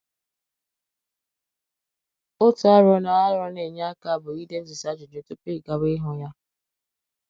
Otu arọ na arọ na - enye aka bụ idetusị ajụjụ tupu ị gawa ịhụ ya.